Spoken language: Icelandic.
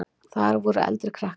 Þar voru eldri krakkar.